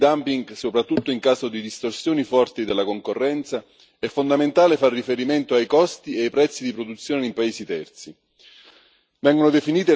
Per determinare le situazioni di dumping, soprattutto in caso di distorsioni forti della concorrenza, è fondamentale fare riferimento ai costi e ai prezzi di produzione nei paesi terzi.